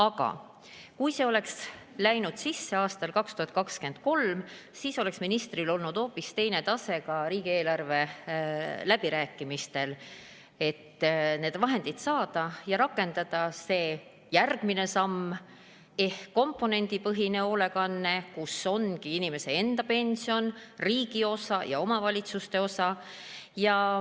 Aga kui oleks läinud sisse aasta 2023, siis oleks ministril olnud hoopis teine tase ka riigieelarve läbirääkimistel, et need vahendid saada ja rakendada see järgmine samm ehk komponendipõhine hoolekanne, kus ongi inimese enda pension, riigi osa ja omavalitsuse osa.